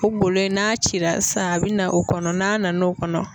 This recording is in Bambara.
O golo in n'a cira sisan a bɛ na o kɔnɔ n'a na n'o kɔnɔ